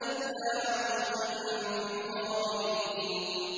إِلَّا عَجُوزًا فِي الْغَابِرِينَ